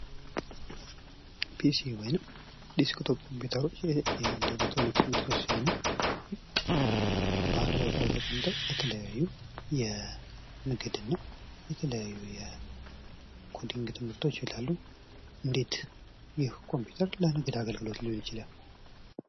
ፒሲ ወይም ዲስክቶፕ ኮምፒዩተሮች የአንድ ኤሌክትሮኒክስ ምርቶች ሲሆኑ በአንድ ቦታ ላይ ተቀምጠው ለአንድ ለንግዱ ወይም ደግሞ ለተለያዩ ለኮዲንግ ትምህርቶች ይውላል ።እንዴት ኮምፒውተር ለንግድ አገልግሎት ሊውል ይችላል?